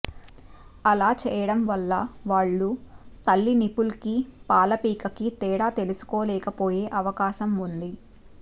అలా చేయటం వల్ల వాళ్ళు తల్లి నిపుల్ కి పాలపీక కి తేడా తెలుసుకోలేకపోయే అవకాశం ఉంది